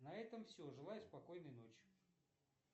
на этом все желаю спокойной ночи